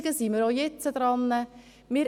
Hier ist wieder das Gleiche.